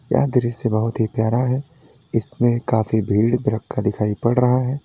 यह दृश्य बोहोत ही प्यारा है इसमें काफी भीड़ का दिखाई पड़ रहा है।